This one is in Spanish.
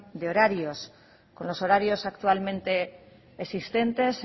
de horarios con los horarios actualmente existentes